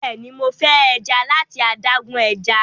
béèni Mo fe eja lati adágún ẹja.